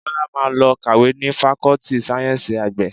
Bọ́lá máa lọ kàwé ni Fakọ́tì Sáyẹ́ńsì Àgbẹ̀